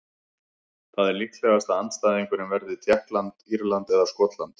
Það er líklegast að andstæðingurinn verði Tékkland, Írland eða Skotland.